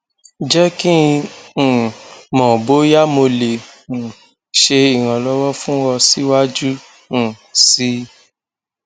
jẹ ki n um mọ boya mo le um ṣe iranlọwọ fun ọ siwaju um sii